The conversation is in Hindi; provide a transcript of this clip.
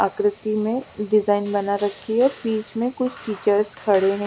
आक्रति में डिजाइन बना रखी है बिच में कुछ टीचर्स खड़े है।